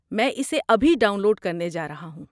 میں اسے ابھی ڈاؤن لوڈ کرنے جا رہا ہوں۔